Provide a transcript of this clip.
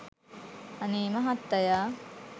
අනේ මහත්තයා